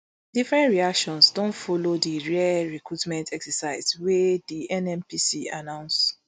different reactions don follow di rare recruitment exercise wey di nnpc announce